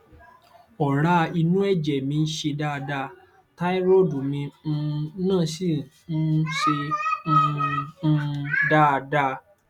ọrá inú ẹjẹ mi ṣe dáada táírọọdù mi um náà sì um ṣe um um dáada